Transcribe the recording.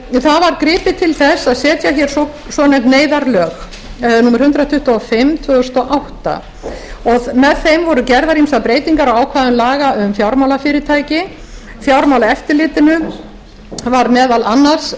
það var gripið til þess að setja hér svonefnd neyðarlög númer hundrað tuttugu og fimm tvö þúsund og átta með þeim voru gerðar ýmsar breytingar á ákvæðum laga um fjármálafyrirtæki fjármálaeftirlitinu var meðal annars